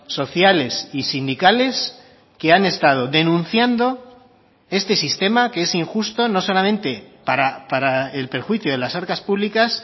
sociales y sindicales que han estado denunciando este sistema que es injusto no solamente para el perjuicio de las arcas públicas